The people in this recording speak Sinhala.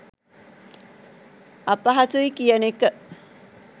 අපහසුයි කියන එක.